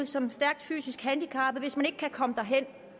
som stærkt fysisk handicappet hvis man ikke kan komme hen